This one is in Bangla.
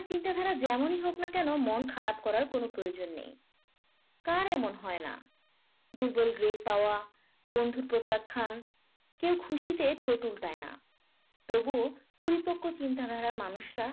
চিন্তাধারা যেমনই হোক না কেন আপনার মন খারাপ করার প্রয়োজন নেই। কার এমন হয় না দুর্বল grade পাওয়া বন্ধুত্ব প্রত্যাখ্যান। কেউ খুশিতে ডোল পেটায় না তবুও পরিপক্ক চিন্তাধারার মানুষরা